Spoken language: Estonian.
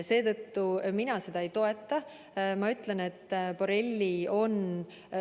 Seetõttu mina seda ei toeta.